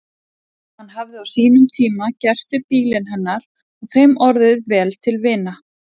Hann hafði á sínum tíma gert við bílinn hennar og þeim orðið vel til vina.